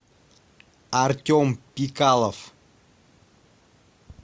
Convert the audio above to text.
артем пикалов